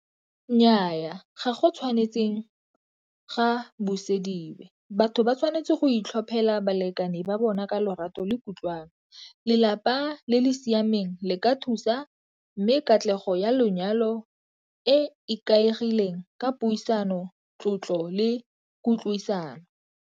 Nnyaa ga go tshwanetseng ga buseditswe. Batho ba tshwanetse go itlhophela balekane ba bona ka lorato le kutlwano. Lelapa le le siameng le ka thusa mme katlego ya lenyalo e ikaegileng ka puisano, tlotlo le kutlwisano.